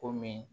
Komi